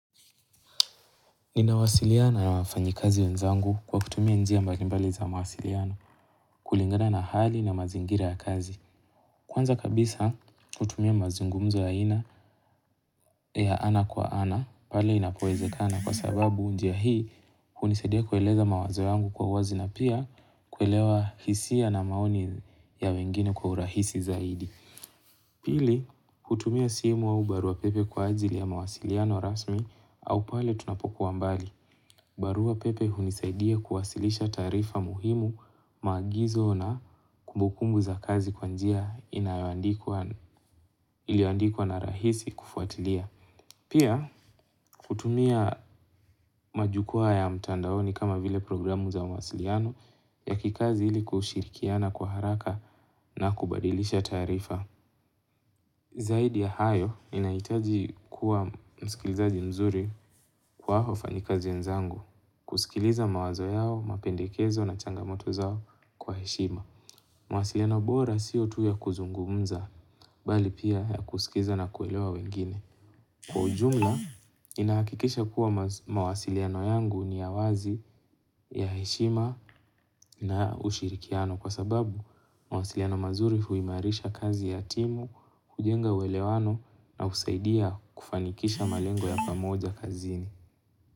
Ninawasiliana na wafanyikazi wenzangu kwa kutumia njia mbalimbali za mawasiliano kulingana na hali na mazingira ya kazi. Kwanza kabisa kutumia mazungumzo ya ina, ya ana kwa ana pale inapoezekana kwa sababu njia hii hunisaidia kueleza mawazo yangu kwa wazi na pia kuelewa hisia na maoni ya wengine kwa urahisi zaidi. Pili, kutumia simu au baruapepe kwa ajili ya mawasiliano rasmi au pale tunapokuwa mbali. Barua pepe hunisaidia kuwasilisha taarifa muhimu maagizo na kumbukumbu za kazi kwa njia iliyoandikwa na rahisi kufuatilia. Pia, kutumia majukwa ya mtandaoni kama vile programu za mawasiliano ya kikazi ili kushirikiana kwa haraka na kubadilisha taarifa. Zaidi ya hayo, ninahitaji kuwa msikilizaji mzuri kwa wafanyikazi wenzangu, kusikiliza mawazo yao, mapendekezo na changamoto zao kwa heshima. Mawasiliano bora sio tu ya kuzungumza, bali pia ya kuskiza na kuelewa wengine. Kwa ujumla, ninahakikisha kuwa mawasiliano yangu ni ya wazi ya heshima na ushirikiano kwa sababu mawasiliano mazuri huimarisha kazi ya timu, kujenga uelewano na husaidia kufanikisha malengo ya pamoja kazini.